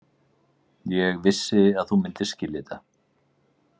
Ég vissi að þú myndir skilja þetta.